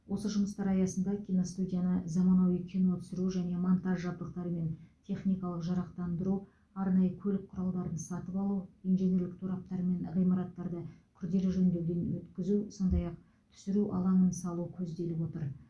осы жұмыстар аясында киностудияны заманауи кино түсіру және монтаж жабдықтарымен техникалық жарақтандыру арнайы көлік құралдарын сатып алу инженерлік тораптар мен ғимараттарды күрделі жөндеуден өткізу сондай ақ түсіру алаңын салу көзделіп отыр